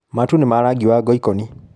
Matu nĩ ma rangi wa ngoikoni.